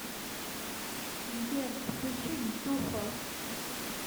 сбер включи джухо